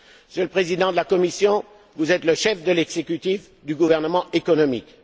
Monsieur le Président de la Commission, vous êtes le chef de l'exécutif du gouvernement économique.